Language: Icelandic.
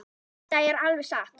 Þetta er alveg satt.